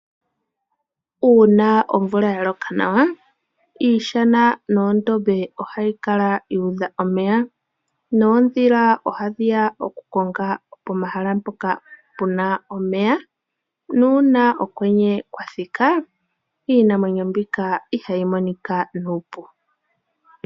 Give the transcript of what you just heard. Uuna omvula yaloka nawa iishana noondombe ohayi kala yuudha omeya. Oondhila oha dhiya okukonga pomahala mpoka pena omeya nuuna okwenye kwa thika iinamwenyo mbika ihayi monika nuupu.